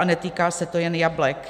A netýká se to jen jablek.